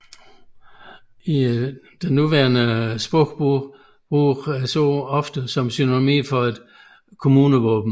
I nutidig sprogbrug bruges ordet ofte som synonym for et kommunevåben